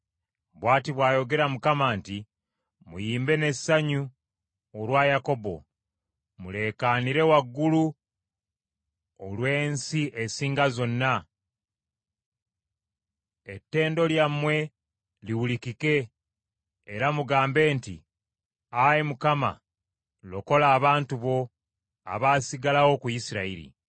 Bw’ati bw’ayogera Mukama nti, “Muyimbe n’essanyu olwa Yakobo Muleekaanire waggulu olw’ensi esinga zonna.” Ettendo lyammwe liwulikike, era mugambe nti, “Ayi Mukama , lokola abantu bo, abaasigalawo ku Isirayiri.”